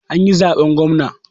An yi zaɓen gwamna